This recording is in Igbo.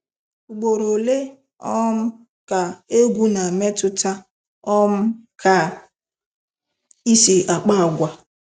Ugboro ole um ka egwu na-emetụta um ka I si akpa agwa.